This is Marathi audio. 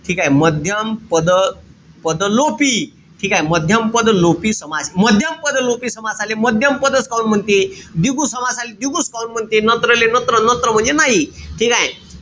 ठीकेय? मध्यम पद पद लोपी ठीकेय? मध्यम पद लोपी समास. मध्यम पद लोपी समासाले मध्यम पदच काहून म्हणते? द्विगु समासाले द्विगुच काहून म्हणते? नत्र ले नत्र म्हणजे नाही. ठीकेय?